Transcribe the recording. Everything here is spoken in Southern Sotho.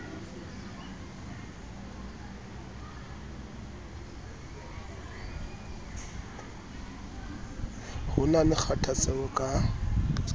ho na le kgathatseho ka